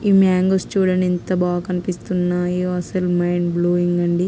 ఈ మ్యాంగోస్ చూడండిఎంత బాగా కనిపిస్తున్నాయో.అసలు మైండ్ బ్లోయింగ్ అండి.